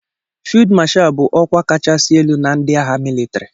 Fịld Mashal bụ ọkwa kachasị elu na ndị agha mịlịtrị.